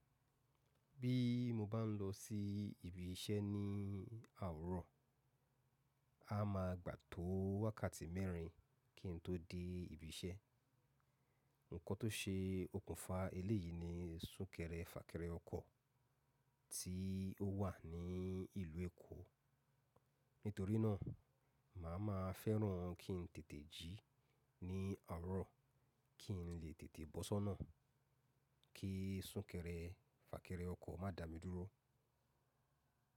Bí mo bá ń lọ sí ibi iṣẹ́ ní àwòro, a máa gbà tó wákàtí mẹ́rin kí n tó dé ibi iṣẹ́. Ǹkọ́ tó ṣe okùnfà eléyìí ni súnkẹrẹ fàkẹrẹ ọkọ̀ tí ó wà ní ìlú Èkó. Nítorí náà, màá ma fẹ́ràn kí n tètè jí ní àwuro kí n lè tètè bọ́ṣọ́nà kí súnkẹrẹ fàkẹrẹ ọkọ̀ má dà mí dúró.